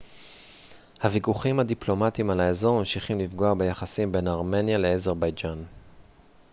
הוויכוחים הדיפלומטיים על האזור ממשיכים לפגוע ביחסים בין ארמניה לאזרבייג'ן